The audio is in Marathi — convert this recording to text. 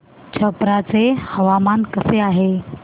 छप्रा चे हवामान कसे आहे